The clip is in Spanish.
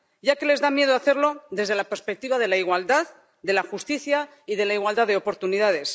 Ya que les da miedo hacerlo desde la perspectiva de la igualdad, de la justicia y de la igualdad de oportunidades.